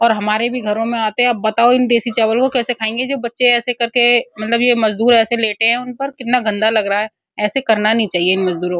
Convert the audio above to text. और हमारे भी घरो में आते है बताओ इन देसी चावलों को कैसे खाएंगे जो बच्चे ऐसे कर के मतलब ये मजदूर ऐसे लेटे है उन पर कितना गन्दा लग रहा है ऐसे करना नहीं चाहिए इन मजदूरो को --